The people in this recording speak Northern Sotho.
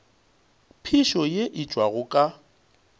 phišo ye e tšwago ka